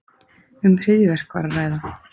Um hryðjuverk var að ræða